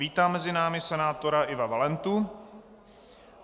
Vítám mezi námi senátora Iva Valentu.